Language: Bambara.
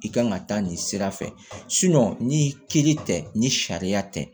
I kan ka taa nin sira fɛ ni kiiri tɛ ni sariya tɛ